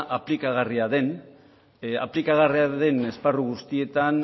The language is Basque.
aplikagarria den esparru guztietan